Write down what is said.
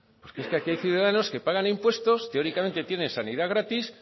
porque aquí hay ciudadanos que pagan impuestos teóricamente tienen sanidad gratis